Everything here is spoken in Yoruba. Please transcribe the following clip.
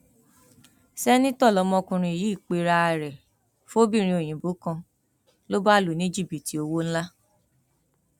sẹńtítọ lọmọkùnrin yìí pera ẹ fọbìnrin òyìnbó kan ló bá lù ú ní jìbìtì owó ńlá